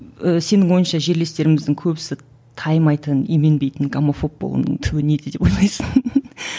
ы сенің ойыңша жерлестеріміздің көбісі таймайтын именбейтін гомофоб болуының түбі неде деп ойлайсың